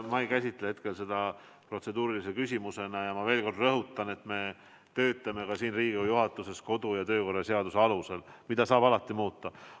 Ma ei käsita hetkel seda protseduurilise küsimusena ja ma veel kord rõhutan, et me töötame Riigikogu juhatuses kodu- ja töökorra seaduse alusel, mida saab alati muuta.